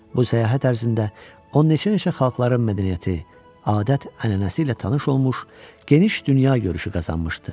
Bu səyahət ərzində o neçə-neçə xalqların mədəniyyəti, adət-ənənəsi ilə tanış olmuş, geniş dünyagörüşü qazanmışdı.